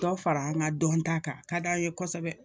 Dɔ fara an ka dɔnta kan a ka d'an ye kosɛbɛ